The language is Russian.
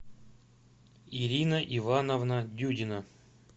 ирина ивановна дюдина